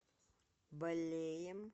балеем